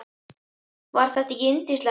Var þetta ekki yndislegt?